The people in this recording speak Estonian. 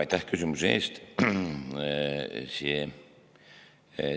Aitäh küsimuse eest!